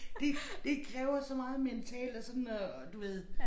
Det det kræver så meget mentalt at sådan at du ved